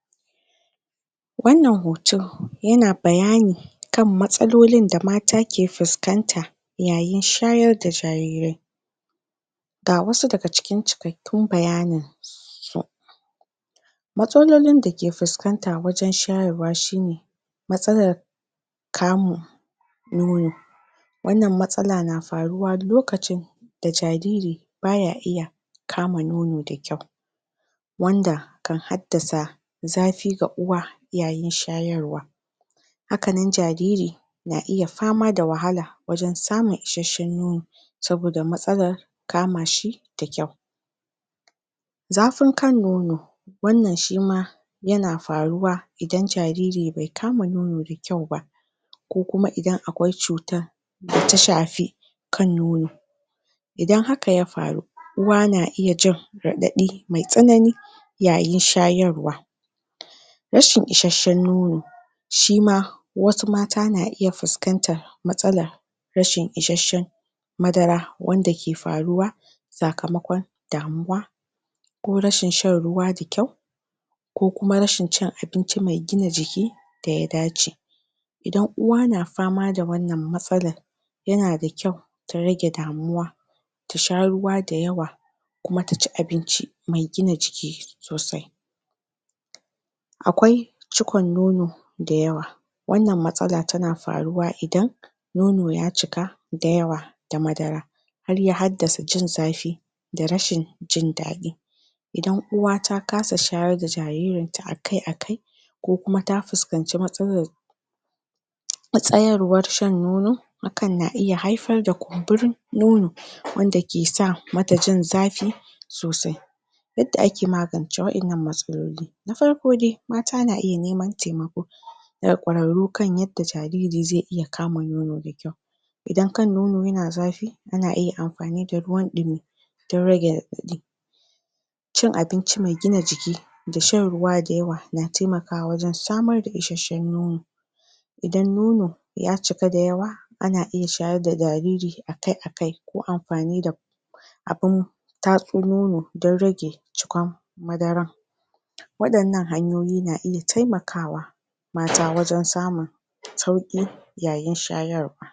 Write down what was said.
Bibiyar aikin noma. Shi wannan bibiyar aikin noma, yana nufin lura da cigaban shuka, kiyayewa bayan noma, da tabbatar da ingantaccen sakamako. Ga wasu hanyoyi da ake amfani dasu, wajen bibiyar aikin noma: wa'annan sun haɗa da rajistar shuka; abinda za ayi shine, a rubuta nau'in shuka da ranar da aka shuka shi. Sannan a rubuta adadin taki da magunguna da akayi amfani dasu, a lura da sauyin yanayi da yadda shuka yake girma, yana da matuƙar amfani. Bin yanayin ruwa da kula da ban ruwa: a rubuta adadin ruwan da shuka ke samu daga ruwan sama, ko ban ruwa da akeyi, da hannu kenan. Sannan a tantance lokacin da ya dace a shayar da shuka, don kada ta bushe. Sai a tabbatar da amfani da hanyoyin ban ruwa wanda suka dace, don rage asarar ruwa a haka kawai. Mataki na gaba; kula da ciyawa da ƙwari, shi ma duk ana son a rubuta shi. A duba gonar akai-akai don ganin ko akwai ciyawa, ko ƙwari, sai a rubuta irin magunguna da akayi amfani dasu, da sakamakon da suka samu. A bincika idan akwai wata cuta da take shafar shukan. A rubuta ranar girbi, da yawan amfanin da aka samu daga wannan gona. A auna kayan noma don tantance yawan girbin shekara, sannan a kwatanta sakamakon girbi da na shekarun baya, don gane ci gaba, ko kuma ci baya aka samu. Sai mataki na gaba; kasuwanci da adanawa. A kiyaye bayanan sayar da amfanin gona, farashin kasuwa, da ribar da aka samu. A kula da inda ake ajiye amfanin gona, don gujewa lalacewa, wato a kaucewa asara. A rubuta yawan amfanin da aka adana, da yawan wanda aka sayar. Bibiyar aikin gona yana taimakawa manoma su fahimci yadda gonar su ke cigaba, rage asara, da inganta ribar da suka samu.